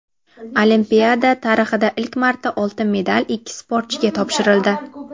Olimpiada tarixida ilk marta oltin medal ikki sportchiga topshirildi.